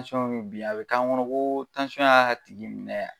mi bin, a bi k'an kɔnɔ ko y'a tigi minɛ yan